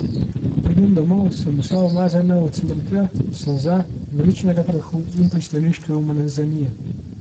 Ko pridem domov, sem vsa umazana od smrklja, solza, dvoriščnega prahu in pristaniške umazanije.